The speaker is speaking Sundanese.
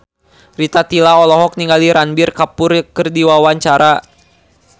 Rita Tila olohok ningali Ranbir Kapoor keur diwawancara